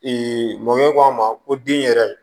mɔkɛ k'a ma ko den yɛrɛ